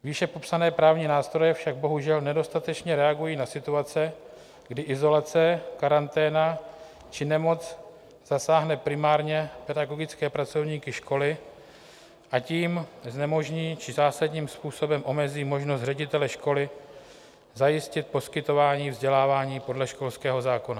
Výše popsané právní nástroje však bohužel nedostatečně reagují na situace, kdy izolace, karanténa či nemoc zasáhnou primárně pedagogické pracovníky školy a tím znemožní či zásadním způsobem omezí možnost ředitele školy zajistit poskytování vzdělávání podle školského zákona.